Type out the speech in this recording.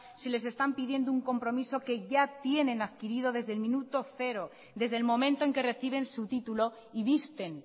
si les están pidiendo un compromiso que ya tienen adquirido desde el minuto cero desde el momento en que reciben su título y visten